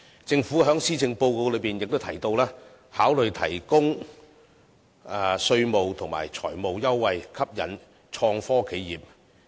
政府在施政報告亦提到考慮提供稅務及財務優惠，吸引創科企業。